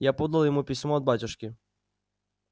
я подал ему письмо от батюшки